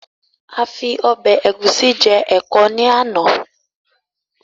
A fi Ọ̀bẹ ẹ̀gúsí je ẹ̀kọ ni àná.